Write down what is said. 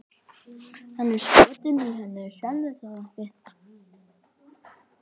Hann er skotinn í henni, sérðu það ekki?